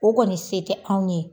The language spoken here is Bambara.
O kɔni se tɛ anw ye